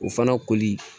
O fana koli